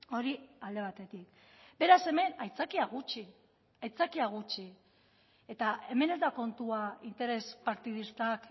hori alde batetik beraz hemen aitzakia gutxi aitzakia gutxi eta hemen ez da kontua interes partidistak